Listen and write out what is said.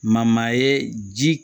Ma maa ye ji